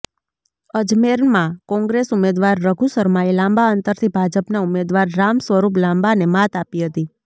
અજમેરમાં કોંગ્રેસ ઉમેદવાર રઘુ શર્માએ લાંબા અંતરથી ભાજપના ઉમેદવાર રામ સ્વરૂપ લાંબાને માત આપી હતી